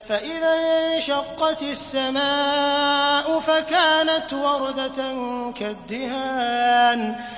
فَإِذَا انشَقَّتِ السَّمَاءُ فَكَانَتْ وَرْدَةً كَالدِّهَانِ